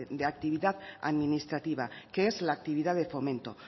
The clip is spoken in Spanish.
de actividad administrativa que es la actividad de fomento